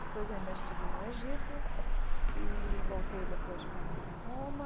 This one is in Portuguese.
Depois eu ainda estive no Egito e voltei depois para Roma.